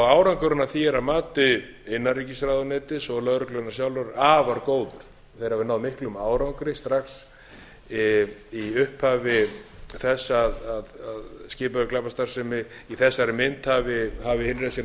árangurinn af því er að mati innanríkisráðuneytis og lögreglunnar sjálfrar afar góður þeir hafa náð miklum árangri strax í upphafi þess að skipulögð glæpastarfsemi í þessari mynd hafi hafið innreið sína á